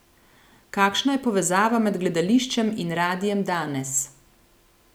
Kakšna je povezava med gledališčem in radiem danes?